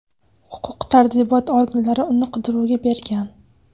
Huquq-tartibot organlari uni qidiruvga bergan.